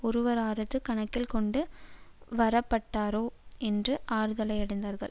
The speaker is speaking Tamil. ஒருவராவது கணக்கில் கொண்டு வரப்பட்டாரே என்று ஆறுதலடைந்தார்கள்